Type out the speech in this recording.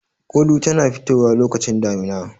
Gulu tana fitowa lokacin damina.